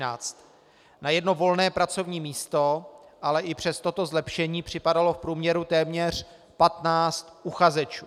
Na jedno volné pracovní místo ale i přes toto zlepšení připadalo v průměru téměř 15 uchazečů.